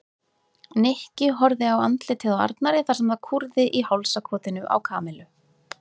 Nikki horfði á andlitið á Arnari þar sem það kúrði í hálsakotinu á Kamillu.